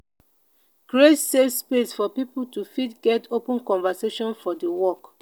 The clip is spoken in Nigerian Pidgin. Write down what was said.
create safe space for pipo to fit get open conversation for di work